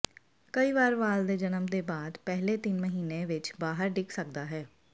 ਕਈ ਵਾਰ ਵਾਲ ਦੇ ਜਨਮ ਦੇ ਬਾਅਦ ਪਹਿਲੇ ਤਿੰਨ ਮਹੀਨੇ ਵਿਚ ਬਾਹਰ ਡਿੱਗ ਸਕਦਾ ਹੈ